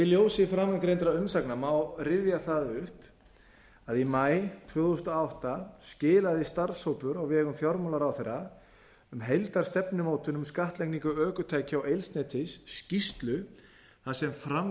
í ljósi framangreindra umsagna má rifja það upp að í maí tvö þúsund og átta skilaði starfshópur á vegum fjármálaráðherra um heildarstefnumótun um skattlagningu ökutækja og eldsneytis skýrslu þar sem fram